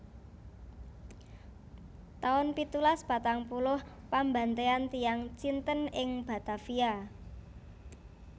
taun pitulas patang puluh Pambantéyan tiyang Cinten ing Batavia